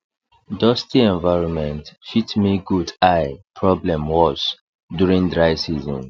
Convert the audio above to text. dusty environment fit make goat eye problem worse during dry season